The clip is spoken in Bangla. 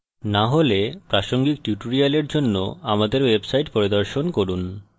না হলে প্রাসঙ্গিক tutorial জন্য আমাদের website পরিদর্শন করুন